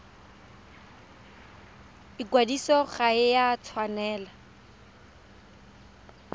ikwadiso ga e a tshwanela